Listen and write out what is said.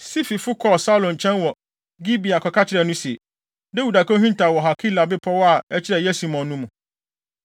Sififo kɔɔ Saulo nkyɛn wɔ Gibea kɔka kyerɛɛ no se, “Dawid akohintaw wɔ Hakila bepɔw a ɛkyerɛ Yesimon no mu.”